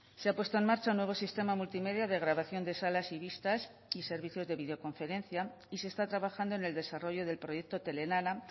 se ha puesto en marcha un nuevo sistema multimedia de grabación de salas y vistas y servicios de videoconferencia y se está trabajando en el desarrollo del proyecto telelana